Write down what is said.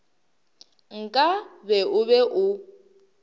nka be o be o